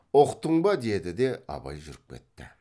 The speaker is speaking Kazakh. ұқтың ба деді де абай жүріп кетті